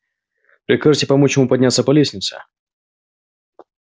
прикажете помочь ему подняться по лестнице